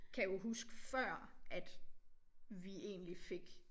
Kan jo huske før at vi egentlig fik